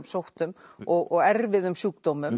sóttum og erfiðum sjúkdómum